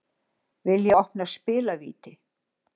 Vilja opna spilavíti